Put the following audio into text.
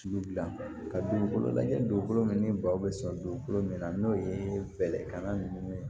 Sugu bila ka dugukolo lajɛ dugukolo min ni baw bɛ sɔrɔ dugukolo min na n'o ye bɛlɛkan ninnu ye